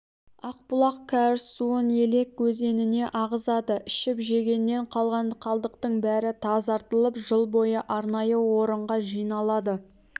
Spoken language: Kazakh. ақбұлақ кәріз суын елек өзеніне ағызады ішіп-жегеннен қалған қалдықтың бәрі тазартылып жыл бойы арнайы орынға жиналады